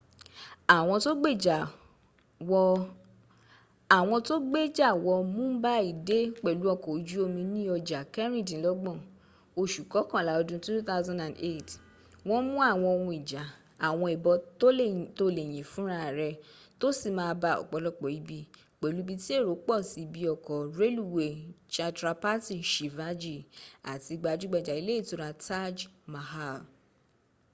àwọn tó gbéjà wọ mumbai dé pẹ̀lú ọkọ̀ ojú omi ní ọja kẹrìndínlọ́gbọ̀n oṣù kọkànlá ọdún 2008 wọ́n mú àwọn ohun ijà àwọn ìbọn tó lè yìn fún ra rẹ̀ tó sì ma ba ọ̀pọ̀lọpọ̀ ibi, pẹ̀lú ibi tí èrò pọ̀ sí ibi ọkọ̀ rẹluwéy chhatrapati shivaji àti gbajúgbajà ilé ìtura taj mahal